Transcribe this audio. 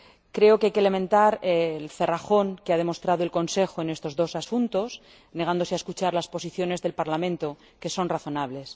Creo que hay que lamentar el cerrajón que ha demostrado el Consejo en estos dos asuntos, negándose a escuchar las posiciones del Parlamento, que son razonables.